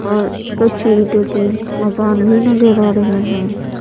और कच्ची ईट की मकान भी नजर आ रही हैं।